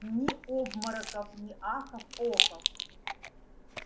ни обмороков ни ахов-охов